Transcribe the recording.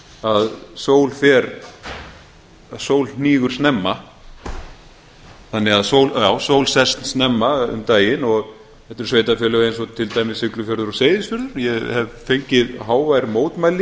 að sól fer að sól hnígur snemma já sól sest snemma um daginn þetta eru sveitarfélög eins og til dæmis siglufjörður og seyðisfjörður ég hef fengið hávær mótmæli